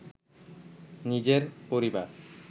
নিজের পরিবার